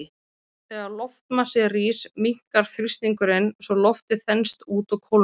Þegar loftmassi rís, minnkar þrýstingurinn svo loftið þenst út og kólnar.